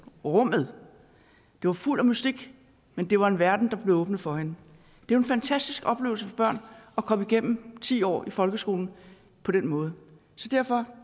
rummet det var fuldt af mystik men det var en verden der blev åbnet for hende det er en fantastisk oplevelse for børn at komme igennem ti år i folkeskolen på den måde derfor